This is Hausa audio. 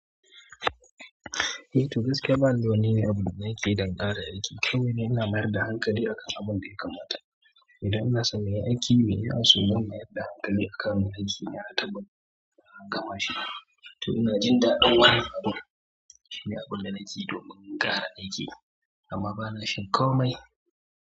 Eh to gaske ba ni da wani ne abu da nakeyi aiki don ƙara aiki. Kawai ni ina mayar da hankali a kan abun da ya kamata. Idan nasa mai aiki ne ya so mu mayar da hankali a kan yin aiki ya taɓa, kuma shi ne. To ina jin daɗin wani abun, shine abun da naƙi domin ƙara aiki amma ba na shinkomai.